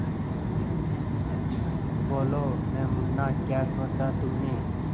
बोलो न मुन्ना क्या सोचा तुमने